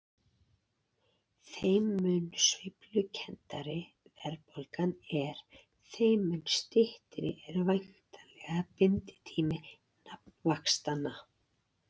Þeim mun sveiflukenndari verðbólgan er þeim mun styttri er væntanlega binditími nafnvaxtanna.